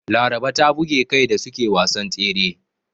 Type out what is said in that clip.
Laraba ta buge kai da suke wasan tsere.